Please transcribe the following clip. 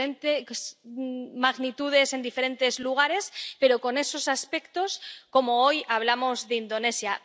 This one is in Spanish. con diferentes magnitudes, en diferentes lugares, pero con esos aspectos, como hoy ocurre en Indonesia.